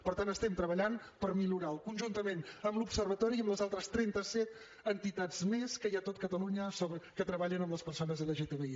per tant estem treballant per millorar lo conjuntament amb l’observatori i amb les altres trenta set entitats més que hi ha a tot catalunya que treballen amb les persones lgtbi